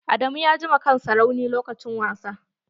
Adamu ya ji ma kansa rauni lokacin wasa.